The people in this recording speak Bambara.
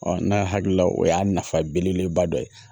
n'a hakilila o y'a nafa belebeleba dɔ ye